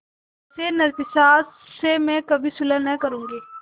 ऐसे नरपिशाच से मैं कभी सुलह न करुँगी